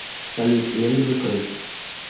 салют я люблю крыс